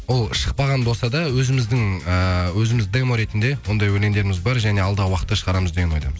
ол шықпаған болса да өзіміздің эээ өзіміз демо ретінде ондай өлеңдеріміз бар және алдағы уақытта шығарамыз деп ойлаймыз